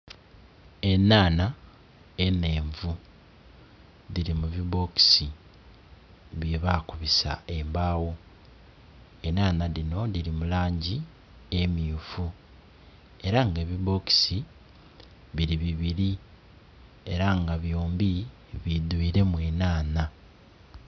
Enanha enhenvu dhiri mu bibokisi bye bakubisa embaagho. Enanha dhino diri mu langi emyufu era nga ebibokisi biri bibiri era nga byombi bidhwiremu enanha.